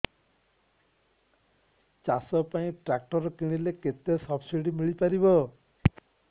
ଚାଷ ପାଇଁ ଟ୍ରାକ୍ଟର କିଣିଲେ କେତେ ସବ୍ସିଡି ମିଳିପାରିବ